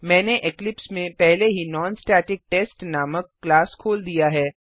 मैंने इक्लिप्स में पहले ही नॉनस्टेटिकटेस्ट नामक क्लास खोल दिया है